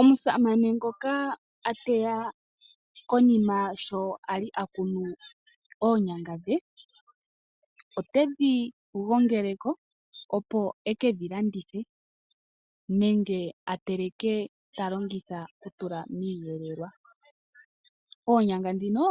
Omusamane ngoka a teya konima sho Ali a kunu oonyanga dhe, otedhi gongele ko opo e ke dhi landithe nenge a teleke ta longitha ku tula miiyelelwa. Oonyanga dhino